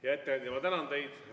Hea ettekandja, ma tänan teid!